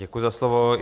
Děkuji za slovo.